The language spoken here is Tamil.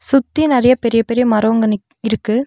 சுத்தியு நறைய பெரிய பெரிய மரோங்க நிக் இருக்கு.